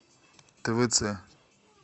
твц